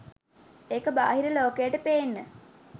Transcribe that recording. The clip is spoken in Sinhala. ඒක බාහිර ලෝකයට පේන්න.